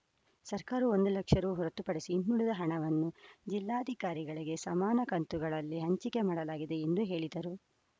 ಸರ್ಕಾರವು ಒಂದು ಲಕ್ಷ ರು ಹೊರತು ಪಡಿಸಿ ಇನ್ನುಳಿದ ಹಣವನ್ನು ಜಿಲ್ಲಾಧಿಕಾರಿಗಳಿಗೆ ಸಮಾನ ಕಂತುಗಳಲ್ಲಿ ಹಂಚಿಕೆ ಮಾಡಲಾಗಿದೆ ಎಂದು ಹೇಳಿದರು